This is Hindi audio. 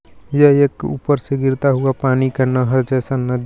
यह एक ऊपर से गिरता हुआ पानी का नहर जैसा नदी है.